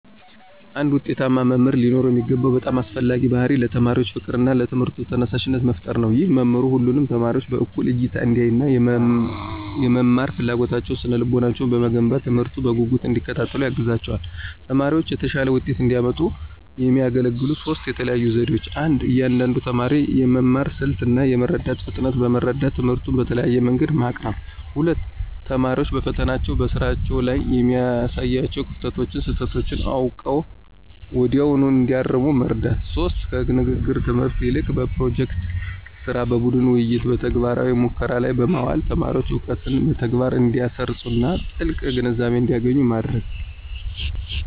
አንድ ውጤታማ መምህር ሊኖረው የሚገባው በጣም አስፈላጊው ባሕርይ ለተማሪዎች ፍቅርና ለትምህርቱ ተነሳሽነት መፍጠር ነው። ይህ መምህሩ ሁሉንም ተማሪዎች በእኩል አይን እንዲያይና፣ የመማር ፍላጎታቸውንና ስነ-ልቦናቸውን በመገንባት፣ ትምህርቱን በጉጉት እንዲከታተሉ ያግዛቸዋል። ተማሪዎችም የተሻለ ውጤት እንዲያመጡ የሚያገለግሉ ሦስት የተለዩ ዘዴዎች 1. የእያንዳንዱን ተማሪ የመማር ስልት እና የመረዳት ፍጥነት በመረዳት፣ ትምህርቱን በተለያየ መንገድ ማቅረብ። 2. ተማሪዎች በፈተናዎችና በስራዎች ላይ የሚያሳዩዋቸውን ክፍተቶችና ስህተቶች አውቀው ወዲያውኑ እንዲያርሙ መርዳት። 3. ከንግግር ትምህርት ይልቅ በፕሮጀክት ሥራ፣ በቡድን ውይይትና በተግባራዊ ሙከራዎች ላይ በማዋል ተማሪዎች እውቀትን በተግባር እንዲያሰርፁና ጥልቅ ግንዛቤ እንዲያገኙ ማድረግ።